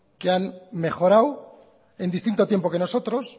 que han mejorado en distinto tiempo que nosotros